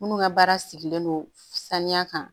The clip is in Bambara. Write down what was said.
Minnu ka baara sigilen don saniya kan